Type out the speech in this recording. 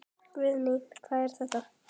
Guðný: Hvað er þetta?